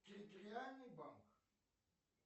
территориальный банк